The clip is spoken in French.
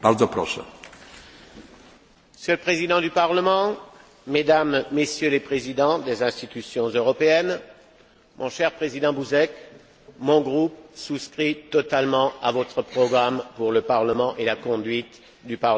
Monsieur le Président du Parlement, Mesdames, Messieurs les Présidents des institutions européennes, mon cher président Buzek, mon groupe souscrit totalement à votre programme pour le Parlement et la conduite du Parlement dans les cinq prochaines années.